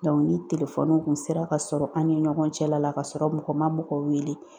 ni kun sera ka sɔrɔ an ni ɲɔgɔn cɛla la, k'a sɔrɔ mɔgɔ ma mɔgɔ wele